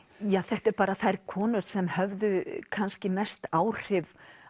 ja þetta eru þær konur sem höfðu kannski mest áhrif